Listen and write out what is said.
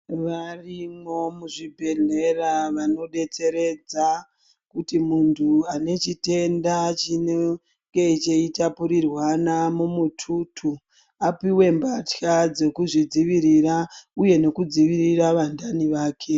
Varipo zvibhedhlera zvine antu anodetseredza kuti munhu ane chitenda chinenge chichitapurirwana mumututu apuwe mbatya dzekuzvidzivirira uye nekudzivirira vandani vake.